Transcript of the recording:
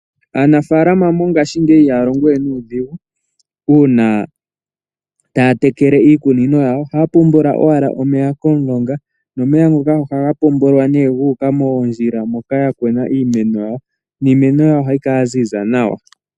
Ngaashingeyi aanafaalama ihaya longo we nuudhigu uuna taya tekele iikunino yawo. Ohaya popola owala omeya okuza komulonga nomeya ngoka ohaga kunguluka gu uka moondjila dhiimpungu hoka ya kuna iimeno yawo, niimeno yawo ohayi kala ya ziza nawa.